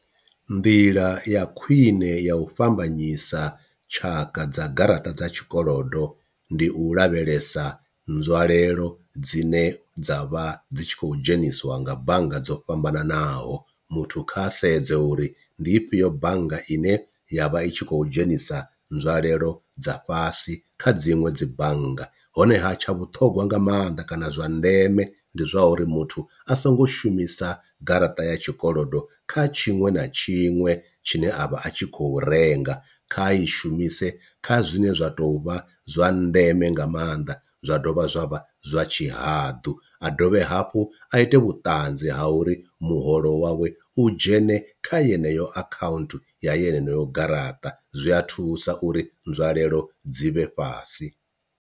Nḓila ya khwine ya u fhambanyisa tshaka dza garaṱa dza tshikolodo ndi u lavhelesa nzwalelo dzine dza vha dzi tshi khou dzhenisiwa nga bannga dzo fhambananaho, muthu kha sedze uri ndi ifhio bannga ine ya vha i tshi khou dzhenisa nzwalelo dza fhasi kha dziṅwe dzi bannga honeha tsha vhuṱhongwa nga mannḓa kana zwa ndeme ndi zwa uri muthu a songo shumisa garaṱa ya tshikolodo kha tshiṅwe na tshiṅwe tshine a vha a tshi khou renga, kha i shumise kha zwine zwa tou vha zwa ndeme nga maanḓa zwa dovha zwa vha zwa tshihaḓu. A dovhe hafhu a ite vhutanzi ha uri muholo wawe u dzhene kha yeneyo akhaunthu ya yeneyo garaṱa zwi a thusa uri nzwalelo dzi vhe fhasi.